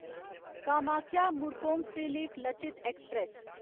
Kamakhya Murkongselek Lachit express